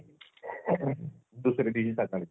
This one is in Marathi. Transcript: हो. ते एक जरा कठीण वाटायचं ना पसायदान बोलायला.